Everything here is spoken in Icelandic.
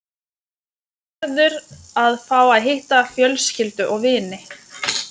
Gerður að fá að hitta fjölskyldu og vini.